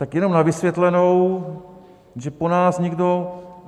Tak jenom na vysvětlenou, že po nás někdo...